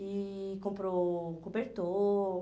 E comprou cobertor.